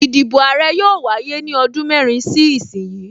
Ìdìbò Àrẹ yóò wáyé ní ọdún mẹ́rin sí ìsin yìí